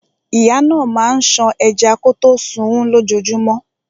Ìyá náà máa ń ṣan ẹja kọtó sunún lójojúmọ́.